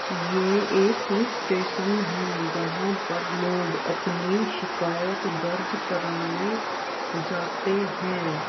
ये एक police station है जहाँ पर लोग अपनी शिकायत दर्ज कराने जाते है।